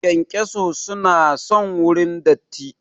Kyankyaso su na son wurin datti